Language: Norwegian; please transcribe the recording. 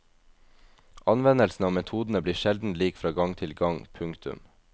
Anvendelsen av metodene blir sjelden lik fra gang til gang. punktum